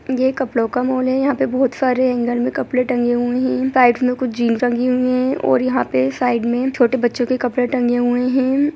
ये कपड़ों का माल है यहां पे बहुत सारे हेंगर में कपड़े टंगे हुए है साइड मे कुछ जीन्स टँगीं हुई है और यहां पे साइड में छोटे बच्चों के कपड़े टंगे हुए है।